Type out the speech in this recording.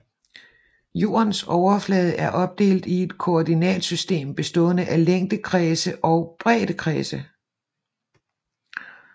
Jordens overflade er opdelt i et koordinatsystem bestående af længdekredse og breddekredse